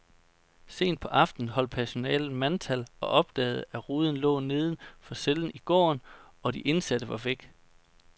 Sent på aftenen holdt personalet mandtal og opdagede, at ruden lå neden for cellen i gården, og de indsatte var væk.